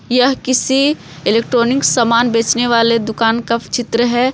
यह किसी इलेक्ट्रॉनिक सामान बेचने वाले दुकान का चित्र है ।